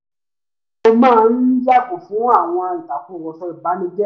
mo máa ń yààgò fún àwọn ìtàkùrọ̀sọ ìbanijẹ́